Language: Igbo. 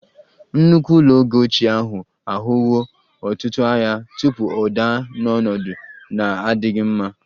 Nnukwu ụlọ oge ochie ahụ ahụwo ọtụtụ agha tupu ọ daa n'ọnọdụ na-adịghị mma